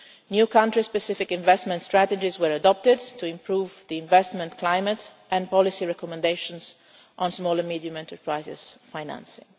New country specific investment strategies were adopted to improve the investment climate and policy recommendations on small and medium enterprises financing.